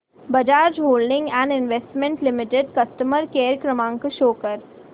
Bajaj holdings and investment limited customer care क्रमांक show कर